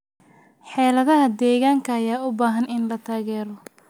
Xeeladaha deegaanka ayaa u baahan in la taageero.